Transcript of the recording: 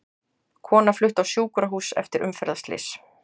Kona flutt á sjúkrahús eftir umferðarslys